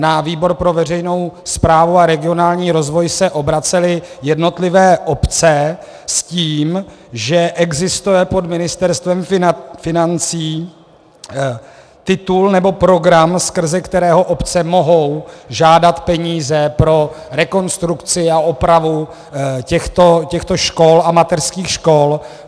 Na výbor pro veřejnou správu a regionální rozvoj se obracely jednotlivé obce s tím, že existuje pod Ministerstvem financí titul nebo program, skrze který obce mohou žádat peníze pro rekonstrukci a opravu těchto škol a mateřských škol.